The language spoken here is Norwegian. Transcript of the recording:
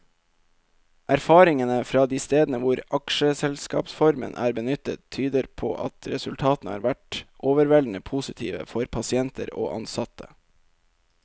Erfaringene fra de stedene hvor aksjeselskapsformen er benyttet, tyder på at resultatene har vært overveldende positive for pasienter og ansatte.